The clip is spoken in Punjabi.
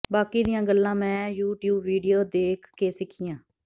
ਬਾਕੀ ਦੀਆਂ ਗੱਲਾਂ ਮੈਂ ਯੂਟਿਊਬ ਵੀਡੀਓ ਦੇਖ ਕੇ ਸਿੱਖੀਆਂ